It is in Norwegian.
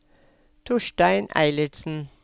Torstein Eilertsen